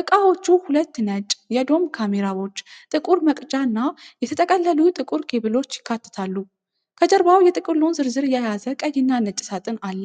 እቃዎቹ ሁለት ነጭ የዶም ካሜራዎች፣ ጥቁር መቅጃ እና የተጠቀለሉ ጥቁር ኬብሎች ያካትታሉ። ከጀርባው የጥቅሉን ዝርዝር የያዘ ቀይ እና ነጭ ሳጥን አለ።